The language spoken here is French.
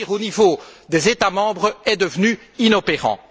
Agir au niveau des États membres est devenu inopérant.